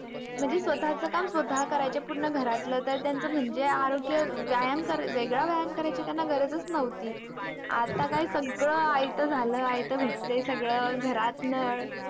म्हणजे स्वतःच काम स्वतः करायच्या पूर्ण घरातलं. तर त्यांचं म्हणजे आरोग्य व्यायाम कराय वेगळा व्यायाम करायची त्यांना गरजच नव्हती. आता काय, सगळं आयतं झालं, आयतं भेटतंय सगळं. घरात नळ